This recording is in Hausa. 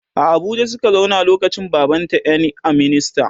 A Abuja Suka zauna lokacin baban ta ƴan a minista